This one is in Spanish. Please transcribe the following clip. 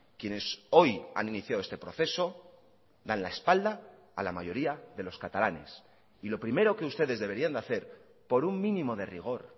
quienes hoy han iniciado este proceso dan la espalda a la mayoría de los catalanes y lo primero que ustedes deberían de hacer por un mínimo de rigor